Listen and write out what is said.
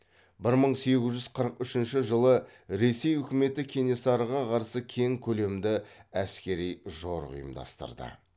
бір мың сегіз жүз қырық үшінші жылы ресей үкіметі кенесарыға қарсы кең көлемді әскери жорық ұйымдастырды